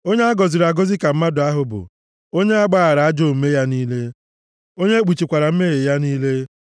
Onye a gọziri agọzi ka mmadụ ahụ bụ, onye a gbaghaara ajọ omume ya niile, onye e kpuchikwaara mmehie ya niile.